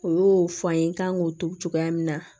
O y'o fɔ an ye n kan k'o tugu cogoya min na